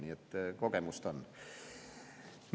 Nii et kogemust on.